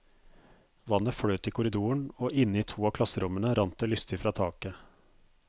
Vannet fløt i korridoren, og inne i to av klasserommene rant det lystig fra taket.